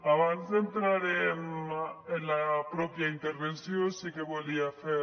abans d’entrat en la pròpia intervenció sí que volia fer